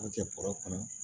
Kɛ bɔrɛ kɔnɔ